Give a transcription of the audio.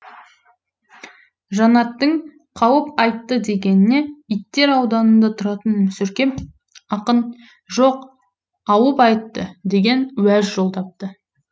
жанаттың қауып айтты дегеніне иттер ауданында тұратын мүсіркеп ақын жоқ ауып айтты деген уәж жолдапты